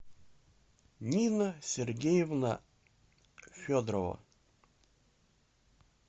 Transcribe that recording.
нина сергеевна федорова